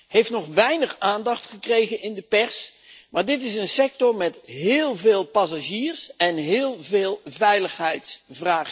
Die heeft nog weinig aandacht gekregen in de pers, maar dit is een sector met heel veel passagiers en heel veel veiligheidsvraagstukken.